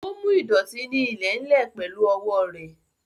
Ó mú ìdọ̀tí ní ilẹ̀ ń lè pẹ̀lú owó rẹ̀